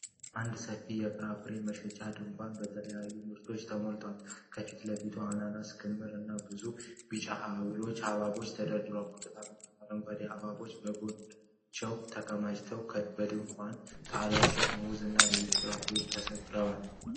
አንድ ሰፊ የፍራፍሬ መሸጫ ድንኳን በተለያዩ ምርቶች ተሞልቷል። ከፊት ለፊት የአናናስ ክምር እና ብዙ ቢጫ ሐብሐቦች ተደርድረዋል። ብርቱካን እና አረንጓዴ ሐብሐቦች ከጎናቸው ተከማችተዋል። በድንኳኑ ጣሪያ ስር ሙዝ እና ሌሎች ፍራፍሬዎች ተሰቅለዋል።